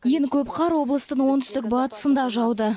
ең көп қар облыстың оңтүстік батысында жауды